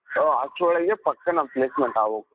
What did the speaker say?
so actual ಆಗಿ ಪಕ್ಕಾ ನಮ್ placement ಆಗೋಗುತ್ತೆ.